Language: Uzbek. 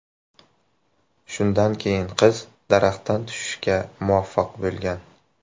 Shundan keyin qiz daraxtdan tushishga muvaffaq bo‘lgan.